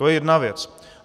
To je jedna věc.